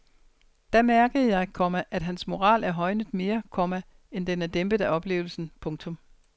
Da mærkede jeg, komma at hans moral er højnet mere, komma end den er dæmpet af oplevelsen. punktum